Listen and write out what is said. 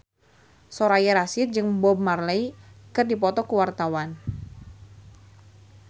Soraya Rasyid jeung Bob Marley keur dipoto ku wartawan